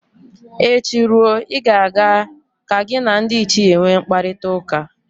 Echi ruo, ị ga-aga ka gị na ndị ichie nwe mkparịtaụka